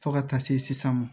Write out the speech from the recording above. Fo ka taa se sisan ma